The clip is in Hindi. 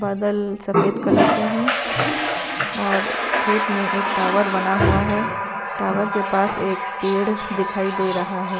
बादल सफेद कलर के है और खेत में एक टावर बना हुआ है टावर के पास एक पैड दिखाई दे रहा है।